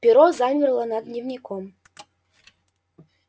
перо замерло над дневником